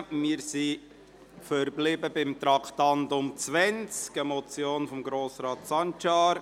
Wir sind beim Traktandum 20 verblieben, einer Motion von Grossrat Sancar: